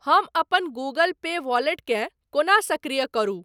हम अपन Google Pay वॉलेटकेँ कोना सक्रिय करू?